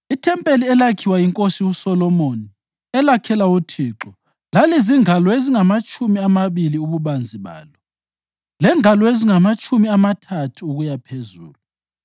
Ithempeli elakhiwa yiNkosi uSolomoni elakhela uThixo lalizingalo ezingamatshumi amabili ububanzi balo, lengalo ezingamatshumi amathathu ukuyaphezulu.